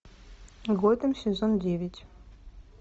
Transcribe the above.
готэм сезон девять